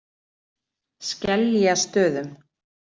Skeljastöðum